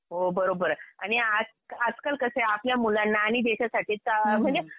हो बरोबर आहे. आणि आजकाल कसं आहे आपल्या मुलांना आणि देशासाठी म्हणजे